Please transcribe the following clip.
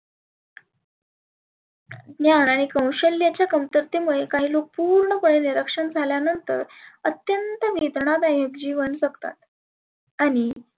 निहाळने कौशल्याच्या कमतरते मुळे काही लोक पुर्ण पणे निरक्षर झाल्या नंतर अत्यंत वेदना दायक जिवन जगतात. आणि